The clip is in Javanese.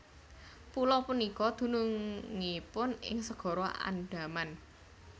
Pulo punika dunungipun ing Segara Andaman